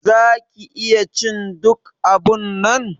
Za ki iya cin duk abunnan.